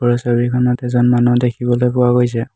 ওপৰৰ ছবিখনত এজন মানুহ দেখিবলৈ পোৱা গৈছে।